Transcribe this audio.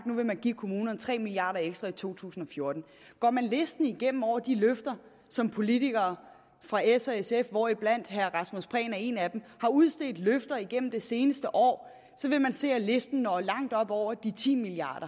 nu vil man give kommunerne tre milliard kroner ekstra i to tusind og fjorten går man listen igennem over de løfter som politikere fra s og sf hvoriblandt herre rasmus prehn er en af dem har udstedt igennem det seneste år vil man se at listen når langt op over de ti milliard